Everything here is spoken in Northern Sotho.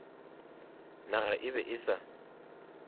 naga e be e sa